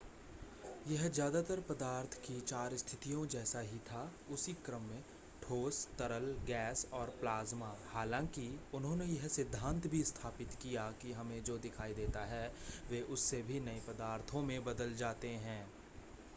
यह ज़्यादातर पदार्थ की चार स्थितियों जैसा ही था उसी क्रम में: ठोस तरल गैस और प्लाज़्मा हालाँकि उन्होंने यह सिद्धांत भी स्थापित किया कि हमें जो दिखाई देता है वे उससे भी नए पदार्थों में बदल जाते हैं